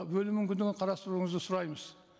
бөлу мүмкіндігін қарастыруыңызды сұраймыз